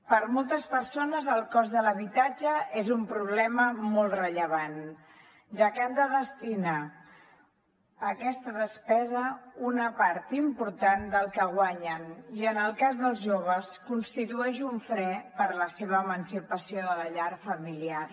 per a moltes persones el cost de l’habitatge és un problema molt rellevant ja que han de destinar a aquesta despesa una part important del que guanyen i en el cas dels joves constitueix un fre per a la seva emancipació de la llar familiar